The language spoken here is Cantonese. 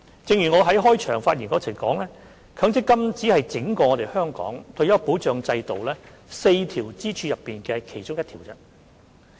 正如我在開場發言中指出，強積金只是香港整個退休保障制度4條支柱的其中一條。